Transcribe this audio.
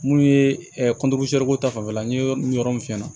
Mun ye ko ta fanfɛla n ye yɔrɔ min f'i ɲɛna